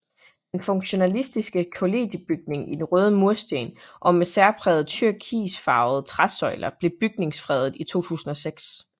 Den funktionalistiske kollegiebygning i røde mursten og med særprægede turkisfarvede træsøjler blev bygningsfredet i 2006